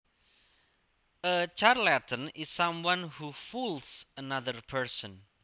A charlatan is someone who fools another person